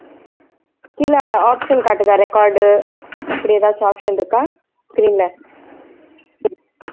கீழே option காட்டுதா record அப்படி ஏதாச்சும் option இருக்கா screen ல